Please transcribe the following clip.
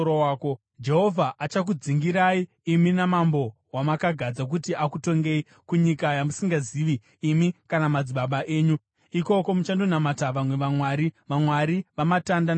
Jehovha achakudzingirai, imi namambo wamakagadza kuti akutongei, kunyika yamusingazivi imi kana madzibaba enyu, ikoko muchandonamata vamwe vamwari, vamwari vamatanda namabwe.